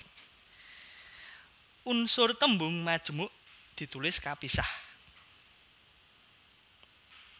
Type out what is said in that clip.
Unsur tembung majemuk ditulis kapisah